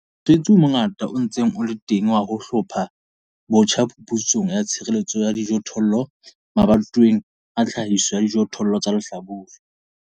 Mosebetsi o mongata o sa ntse o le teng wa ho hlopha botjha phuputso ya tshireletso ya dijothollo mabatoweng a tlhahiso ya dijothollo tsa lehlabula.